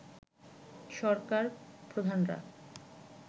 সরকার প্রধানরা